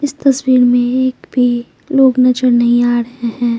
इस तस्वीर में एक भी लोग नजर नहीं आ रहे हैं।